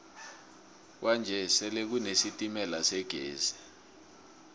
kwanje sele kune sitemala segezi